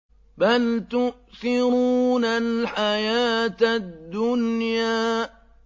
بَلْ تُؤْثِرُونَ الْحَيَاةَ الدُّنْيَا